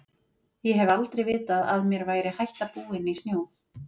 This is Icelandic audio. Ég hef aldrei vitað að mér væri hætta búin í snjó.